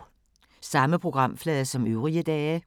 Samme programflade som øvrige dage